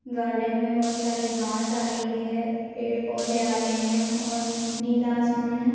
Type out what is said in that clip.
Garden मे बहुत सारी घास आ रही है पेड़ पौंधे आ रहे है और नीला आसमान है।